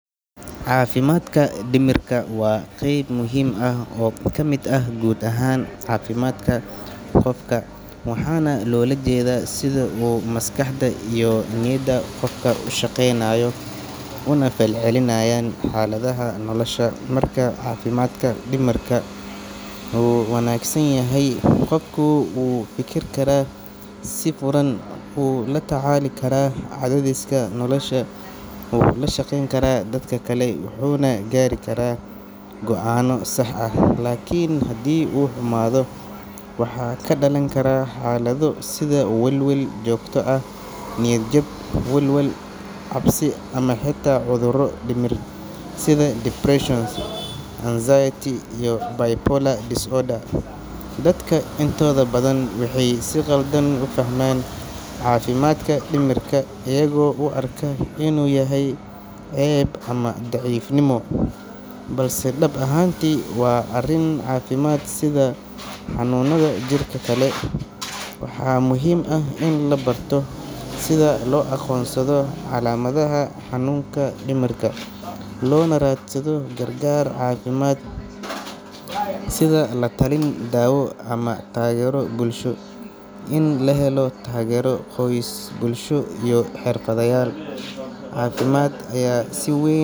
Caafimaadka dhimirka waa qayb muhiim ah oo ka mid ah guud ahaan caafimaadka qofka, waxaana loola jeedaa sida uu maskaxda iyo niyadda qofku u shaqeynayaan, una falcelinayaan xaaladaha nolosha. Marka caafimaadka dhimirka uu wanaagsan yahay, qofku wuu fikiri karaa si furan, wuu la tacaali karaa cadaadiska nolosha, wuu la shaqeyn karaa dadka kale, wuxuuna gaari karaa go’aanno sax ah. Laakiin haddii uu xumaado, waxaa ka dhalan kara xaalado sida welwel joogto ah, niyad jab, walwal, cabsi ama xitaa cudurro dhimir sida depression, anxiety iyo bipolar disorder. Dadka intooda badan waxay si khaldan u fahmaan caafimaadka dhimirka, iyagoo u arka inuu yahay ceeb ama daciifnimo, balse dhab ahaantii waa arrin caafimaad sida xanuunnada jirka kale. Waxaa muhiim ah in la barto sida loo aqoonsado calaamadaha xanuunka dhimirka, loona raadsado gargaar caafimaad sida latalin, daawo ama taageero bulsho. In la helo taageero qoys, bulsho iyo xirfadlayaal caafimaad ayaa si weyn.